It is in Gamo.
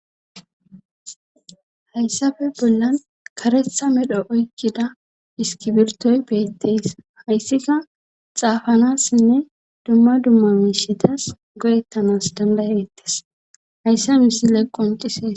Hayssafe bollan karetha medho oykkida iskibirtoy beetteys hayssika xaafanassinne dumma dumma miishidas godettanas dandayettes hayssa misile qoncises.